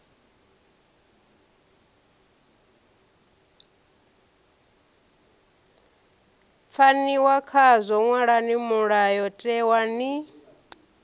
pfaniwa khazwo ṅwalani mulayotewa ni